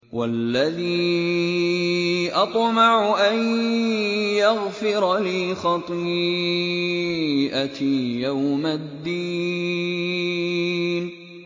وَالَّذِي أَطْمَعُ أَن يَغْفِرَ لِي خَطِيئَتِي يَوْمَ الدِّينِ